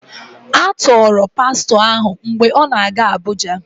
A tọọrọ Pastọ ahụ mgbe ọ na-aga Abuja